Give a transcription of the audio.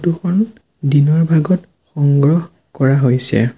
Photo খন দিনৰ ভাগত সংগ্ৰহ কৰা হৈছে।